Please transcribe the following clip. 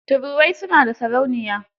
Turuwai su na da sarauniya.